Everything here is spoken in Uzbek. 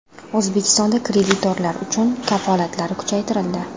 O‘zbekistonda kreditorlar uchun kafolatlar kuchaytirildi.